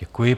Děkuji.